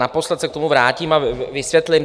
Naposled se k tomu vrátím a vysvětlím.